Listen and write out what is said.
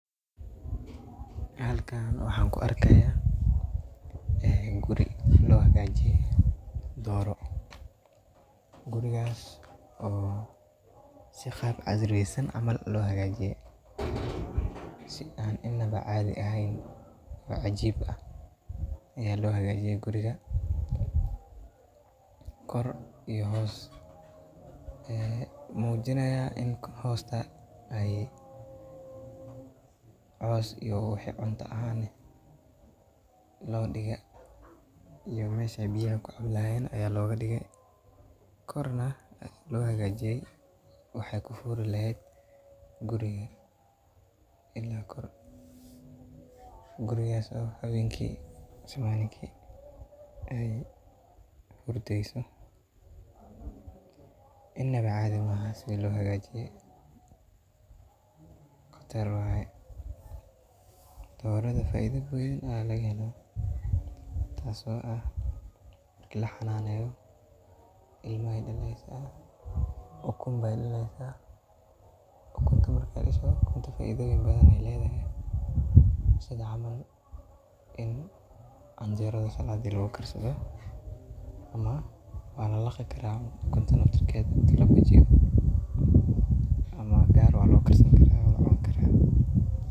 Halkan waxan ku arkaya guri loo hagajiye dooro ,gurigas oo si gaab casriyeysan camal lo hagajiye si inaba cadhi ehen oo cajib ayaa lohagajiye guriga kor iyo hoos mujinaya ini hosta loo digee iyo mis ay biyaha kufulayan aya loga dige korna aya loga hagajiye una yahay gurii oo inaba cadhi maahan sidaa lohagajiye qatar waye doorada faido badan aa laga helaa taso ah ini lahananeyo oo ukunta lagahelo oo muhim ah sidha camal oo canjerada saladi lagu karsadho ama waa lalaqi karaa ukunta laftirkeda ama gaar waa loo karsadha.